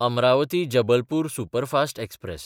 अमरावती–जबलपूर superfast express